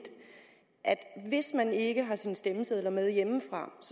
hvis man ikke har sine stemmesedler med hjemmefra